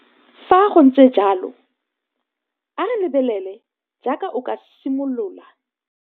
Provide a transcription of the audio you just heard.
Fa go ntse jalo, a re lebelele jaaka o ka simolola.